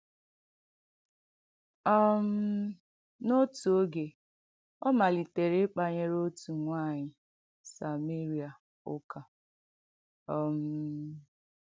um N’òtù oge, ọ malìtèrè ịkpànyerè òtù nwànyị̀ Sàmèrìà ụ̀kà. um